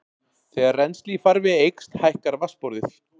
Þegar rennsli í farvegi eykst hækkar vatnsborðið.